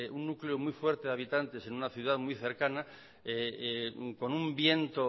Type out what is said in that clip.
un núcleo muy fuerte de habitantes en una ciudad muy cercana con un viento